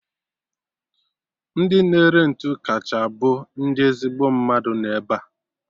Ndị na-ere ntụ kacha bụ ndị ezigbo mmadụ nọ ebea